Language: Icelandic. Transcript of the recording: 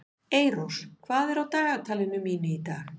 Eyrós, hvað er á dagatalinu mínu í dag?